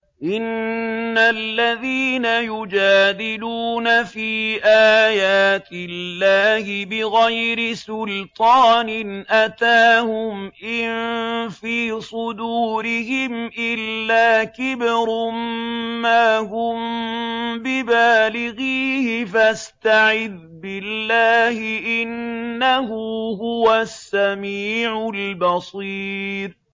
إِنَّ الَّذِينَ يُجَادِلُونَ فِي آيَاتِ اللَّهِ بِغَيْرِ سُلْطَانٍ أَتَاهُمْ ۙ إِن فِي صُدُورِهِمْ إِلَّا كِبْرٌ مَّا هُم بِبَالِغِيهِ ۚ فَاسْتَعِذْ بِاللَّهِ ۖ إِنَّهُ هُوَ السَّمِيعُ الْبَصِيرُ